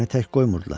Məni tək qoymurdular.